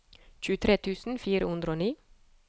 tjuetre tusen fire hundre og ni